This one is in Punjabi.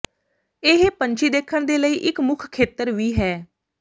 ਇਹ ਪੰਛੀ ਦੇਖਣ ਦੇ ਲਈ ਇੱਕ ਮੁੱਖ ਖੇਤਰ ਵੀ ਹੈ